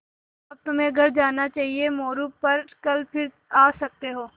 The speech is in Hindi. अब तुम्हें घर जाना चाहिये मोरू पर कल फिर आ सकते हो